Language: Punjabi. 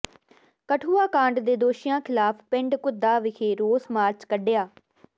ਕਠੂਆ ਕਾਂਡ ਦੇ ਦੋਸ਼ੀਆਂ ਿਖ਼ਲਾਫ਼ ਪਿੰਡ ਘੁੱਦਾ ਵਿਖੇ ਰੋਸ ਮਾਰਚ ਕੱਢਿਆ